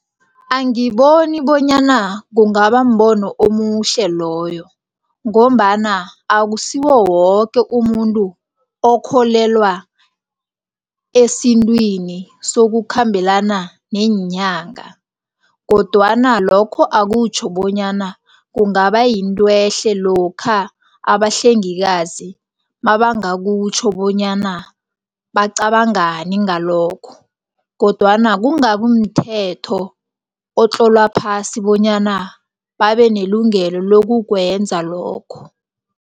Angiboni bonyana kungabambono omuhle loyo ngombana akusiwowoke umuntu okholelwa esintwini sokukhambelana neenyanga. Kodwana lokho akutjho bonyana kungabayinto ehle lokha abahlengikazi mabangakutjho bonyana bacabangani ngalokho. Kodwana kungabimthetho otlolwa phasi bonyana babenelungelo lokukwenza lokho.